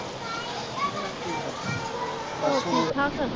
ਹੋਰ ਠੀਕ ਠਾਕ